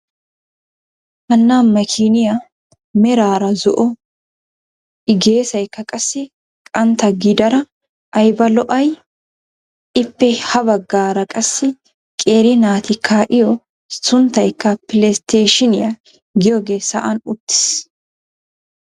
Hanna maakiniyaa meraara zo"o i geessaykka qassi qantta gidaara ayba lo"ay! ippe ha baggaara qassi qeeri naati kaa'iyoo sunttaykka pileysteesheniyaa giyoogee sa'aan uttiis.